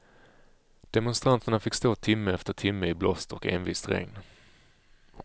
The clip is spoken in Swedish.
Demonstranterna fick stå timme efter timme i blåst och envist regn.